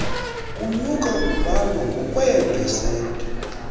kunyuka kubalwa ngokweepesenti